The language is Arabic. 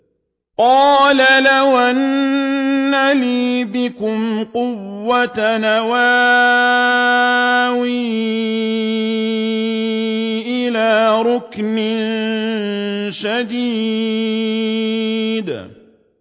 قَالَ لَوْ أَنَّ لِي بِكُمْ قُوَّةً أَوْ آوِي إِلَىٰ رُكْنٍ شَدِيدٍ